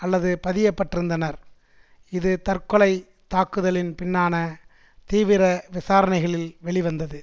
அல்லது பதியப்பட்டிருந்தனர் இது தற்கொலை தாக்குதலின் பின்னான தீவிர விசாரணைகளில் வெளிவந்தது